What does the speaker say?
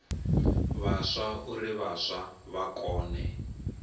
vhaswa uri vhaswa vha kone